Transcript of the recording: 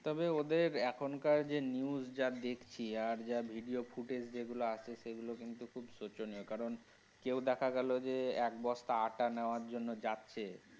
তবে ওদের এখনকার যে news যা দেখছি আর যা video footage যেগুলো আছে সেগুলো কিন্তু খুবই শোচনীয় কারণ কেউ দেখা গেলো যে এক বস্তা আট্টা নেওয়ার জন্য যাচ্ছে।